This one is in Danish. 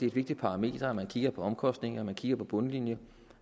et vigtigt parameter at man kigger på omkostningerne kigger på bundlinjen